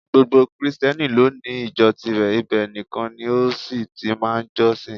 Gbogbo Krìsìtẹ́nì lóní ìjọ tirẹ̀, ibẹ̀ nìkan ni ó sì ti máa ń jọ́sìn